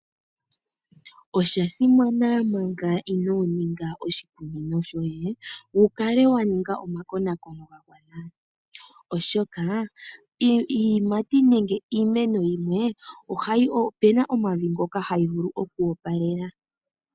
Oshasimana Manga inooninga oshikunino shoye wukale wa ninga omakonaakono oshoka iimeno nenge iiyimati yimwe oyina omavi ngoka hayi vulu oku opalela.